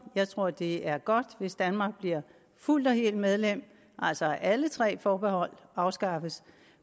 jeg tror det er godt hvis danmark bliver fuldt og helt medlem altså at alle tre forbehold afskaffes